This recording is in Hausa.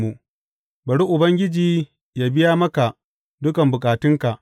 Bari Ubangiji yă biya maka dukan bukatunka.